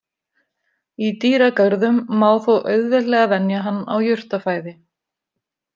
Í dýragörðum má þó auðveldlega venja hann á jurtafæði.